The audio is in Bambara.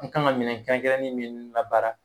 N kan ka minɛn kɛrɛnkɛrɛn nen min labaara